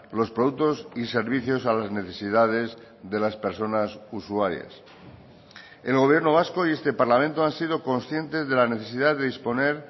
los productos y servicios a las necesidades de las personas usuarias el gobierno vasco y este parlamento han sido conscientes de la necesidad de disponer